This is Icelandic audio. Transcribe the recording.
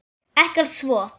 Ekkert svo.